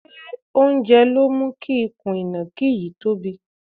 Ṣé oúnjẹ ló mú ikùn ìnàkí yìí tobí?